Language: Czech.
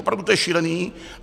Opravdu, to je šílené!